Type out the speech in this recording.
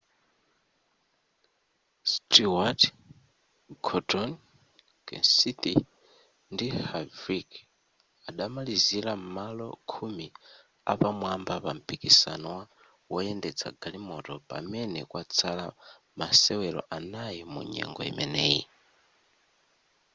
stewart gordon kenseth ndi harvick adamalizira m'malo khumi apamwamba pa mpikisano wa woyendetsa magalimoto pamene kwatsala masewero anayi munyengo imeneyi